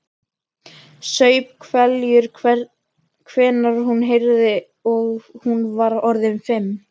Saup hveljur þegar hún heyrði að hún var orðin fimm.